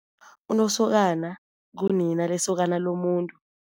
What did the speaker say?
Unosokana ngunina lesokana lomuntu.